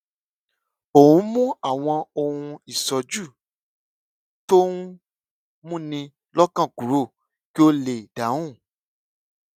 ó ń mú àwọn ohun ìṣójú tó ń múni lọkàn kúrò kí ó lè dáhùn